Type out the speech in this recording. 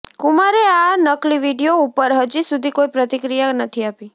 કુમારે આ નકલી વીડિયો ઉપર હજી સુધી કોઈ પ્રતિક્રિયા નથી આપી